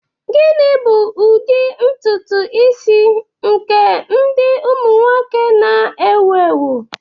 Gịnị bụ ụdị ntutu isi nke ụmụ nwoke na-ewu ewu taa?